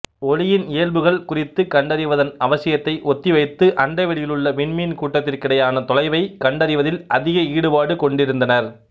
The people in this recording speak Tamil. ஒளியின் இயல்புகள் குறித்துக் கண்டறிவதன் அவசியத்தை ஒத்திவைத்து அண்டவெளியிலுள்ள விண்மீன் கூட்டத்திற்கிடையான தொலைவைக் கண்டறிவதில் அதிக ஈடுபாடு கொண்டிருந்தனர்